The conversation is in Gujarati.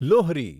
લોહરી